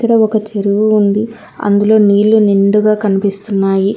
అక్కడ ఒక చెరువు ఉంది అందులో నీళ్లు నిండుగా కనిపిస్తున్నాయి.